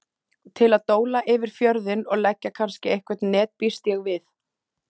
Til að dóla yfir fjörðinn og leggja kannski einhver net býst ég við.